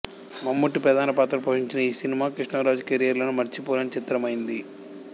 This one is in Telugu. మమ్ముట్టి ప్రధాన పాత్ర పోషించిన ఈ సినిమా కృష్ణంరాజు కెరీర్ లోనూ మరిచిపోలేని చిత్రమైంది